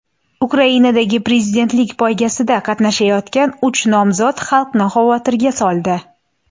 Ukrainadagi prezidentlik poygasida qatnashayotgan uch nomzod xalqni xavotirga soldi.